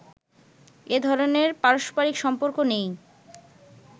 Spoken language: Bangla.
এ ধরনের পারস্পরিক সম্পর্ক নেই